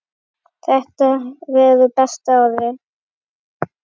Þetta verður besta árið.